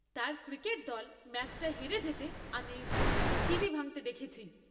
তার ক্রিকেট দল ম্যাচটা হেরে যেতে আমি ওই ভক্তকে টিভি ভাঙতে দেখেছি!